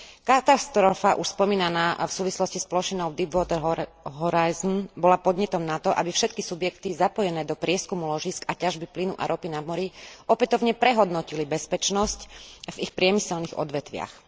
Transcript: Katastrofa už spomínaná v súvislosti s plošinou v Deepwater Horizon bola podnetom na to, aby všetky subjekty zapojené do prieskumu ložísk a ťažby plynu a ropy na mori opätovne prehodnotili bezpečnosť v ich priemyselných odvetviach.